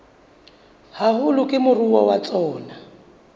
haholo ke moruo wa tsona